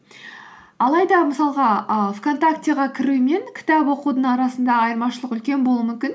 алайда мысалға і вконтактіге кіру мен кітап оқудың арасында айырмашылық үлкен болуы мүмкін